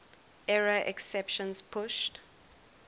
error exceptions pushed